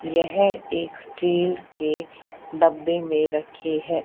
यह एक स्टील के डब्बे में रखी है।